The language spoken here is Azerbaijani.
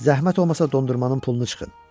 Zəhmət olmasa dondurmanın pulunu çıxın.